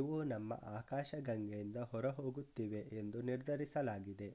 ಇವು ನಮ್ಮ ಆಕಾಶಗಂಗೆಯಿಂದ ಹೊರಹೋಗುತ್ತಿವೆ ಎಂದು ನಿರ್ಧರಿಸಲಾಗಿದೆ